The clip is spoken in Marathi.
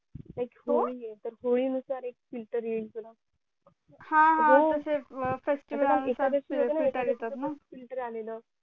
हो like होळी आहे होळी नुसार पण एक filter येईल तुला हा हा तसे येतात ना filter आलेलं